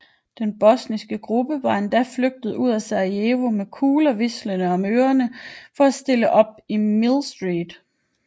Den bosniske gruppe var endda flygtet ud af Sarajevo med kugler hvislende om ørerne for at stille op i Millstreet